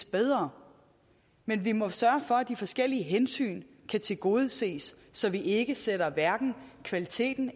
bedre men vi må sørge for at de forskellige hensyn kan tilgodeses så vi ikke sætter kvaliteten